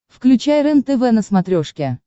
включай рентв на смотрешке